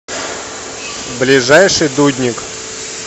ближайший дудник